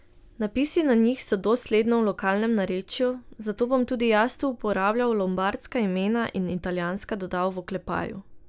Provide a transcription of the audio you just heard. Napisi na njih so dosledno v lokalnem narečju, zato bom tudi jaz tu uporabljal lombardska imena in italijanska dodal v oklepaju.